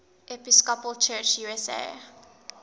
episcopal church usa